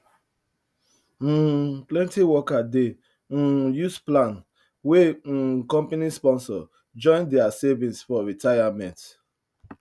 um plenty worker dey um use plan wey um company sponsor join their savings for retirement